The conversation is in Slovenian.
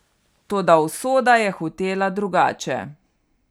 Toda usoda je hotela drugače.